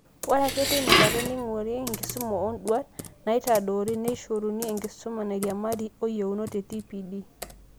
Ore ake teinakata, neing'urari enkisuma oonduat naitadoori, neishoruni enkisuma nairiamari oyeunot e TPD